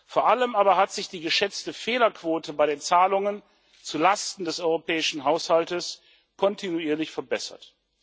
Vor allem aber hat sich die geschätzte Fehlerquote bei den Zahlungen zulasten des europäischen Haushaltes kontinuierlich verbessert.